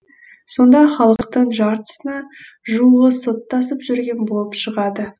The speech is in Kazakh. сонда халықтың жартысына жуығы соттасып жүрген болып шығады